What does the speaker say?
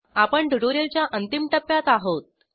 आपण ट्युटोरिअलच्या अंतिम टप्प्यात आहोत